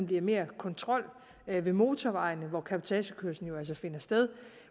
bliver mere kontrol ved motorvejene hvor cabotagekørslen jo altså finder sted